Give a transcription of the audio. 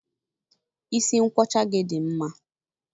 Isi nkwọcha dị gị mma.